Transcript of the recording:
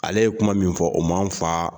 Ale ye kuma min fɔ o man fa